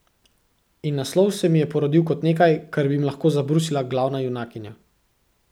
In naslov se mi je porodil kot nekaj, kar bi jim lahko zabrusila glavna junakinja.